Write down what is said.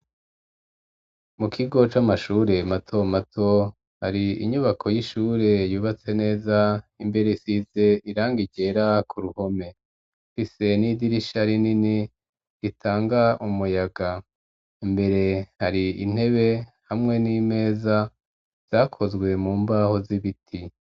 Mu kigo c'amashure mato mato, hari inyubako y'ishure yubatse neza, imbere isize irangi ryera ku ruhome, ifise n'idirisha rinini ritanga umuyaga, imbere hari intebe hamwe n'imeza, zakozwe mu mbaho z'ibiti.